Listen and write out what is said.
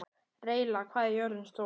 Reyla, hvað er jörðin stór?